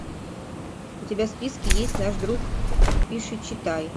у тебя в списке есть наш друг пишичитай